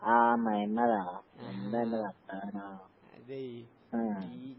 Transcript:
ആഹ് മൊയ്മ്മദാ? എന്താന്റെ വർത്താനോം? അഹ്